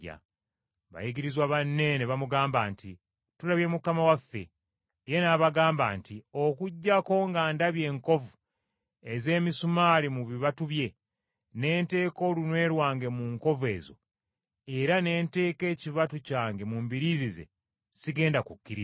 Bayigirizwa banne ne bamugamba nti, “Tulabye Mukama waffe.” Ye n’abagamba nti, “Okuggyako nga ndabye enkovu ez’emisumaali mu bibatu bye, ne nteeka olunwe lwange mu nkovu ezo era ne nteeka ekibatu kyange mu mbiriizi ze, sigenda kukkiriza.”